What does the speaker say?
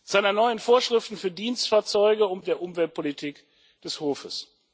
seiner neuen Vorschriften für Dienstfahrzeuge und der Umweltpolitik des Hofes.